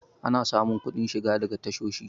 ana samun kuɗin shiga daga tashoshi